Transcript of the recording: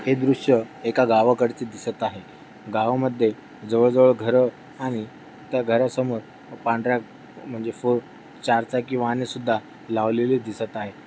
हे दृश्य एका गावाकडचे दिसत आहे. गावामध्ये जवळ-जवळ घर आणि त्या घरासमोर पांढर्‍या म्हणजे फोर चार चाकी वाहने सुद्धा लावलेले दिसत आहे.